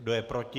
Kdo je proti?